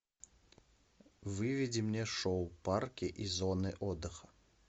выведи мне шоу парки и зоны отдыха